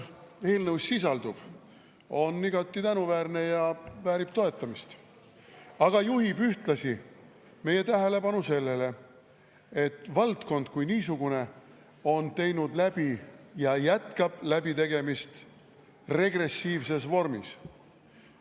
Eelnõus sisalduv on igati tänuväärne ja väärib toetamist, aga juhib ühtlasi meie tähelepanu sellele, et valdkond kui niisugune on teinud läbi regressiivse ja jätkab selle läbitegemist.